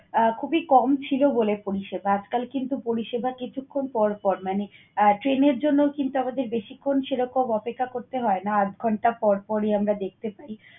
আহ খুবই কম ছিল বলে পরিষেবা। আজকাল কিন্তু পরিষেবা কিছুক্ষণ পরপর মানে আহ train এর জন্য কিন্তু আমাদের বেশিক্ষণ সেরকম অপেক্ষা করতে হয় না। আধঘন্টা পরপরই আমরা দেখতে পাই।